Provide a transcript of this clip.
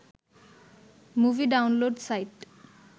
movie download site